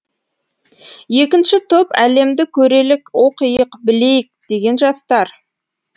екінші топ әлемді көрелік оқиық білейік деген жастар